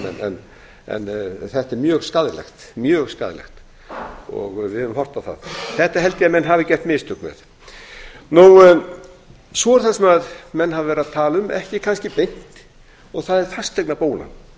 en þetta er mjög skaðlegt og við höfum horft á það þetta held ég að menn hafi gert mistök með svo er það sem menn hafa verið að tala um ekki kannski beint og það er fasteignabólan